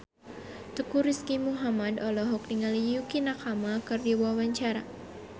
Teuku Rizky Muhammad olohok ningali Yukie Nakama keur diwawancara